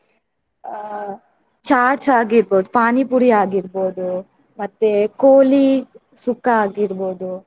ಅಹ್ chats ಆಗಿರ್ಬೋದು, ಪಾನಿಪುರಿ ಆಗಿರ್ಬೋದು ಮತ್ತೆ ಕೋಳಿ ಸುಕ್ಕ ಆಗಿರ್ಬೋದು.